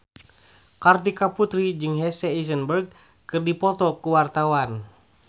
Kartika Putri jeung Jesse Eisenberg keur dipoto ku wartawan